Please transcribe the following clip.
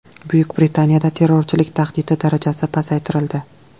Buyuk Britaniyada terrorchilik tahdidi darajasi pasaytirildi.